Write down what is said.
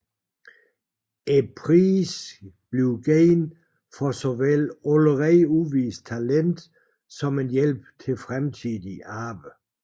Prisen gives for såvel allerede udvist talent som en hjælp til fremtidigt arbejde